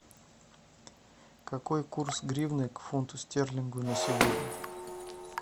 какой курс гривны к фунту стерлингу на сегодня